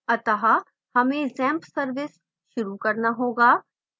अतः हमें xampp service शुरू करना होगा